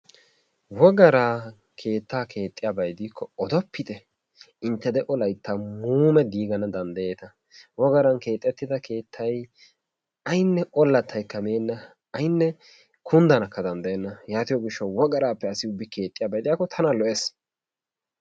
Wogaran keettaa keexxiyaba gidikko odoppite, intte de'o Layttan muumee diigana danddayeeta. Wogaran keexettida keettay aynne ollattaykka meenna, aynne kunddanawukka danddayenna. Yaatiyo gishshawu wogaraappe asi ubbi keexxiyaba gidiyakko tana lo'ees.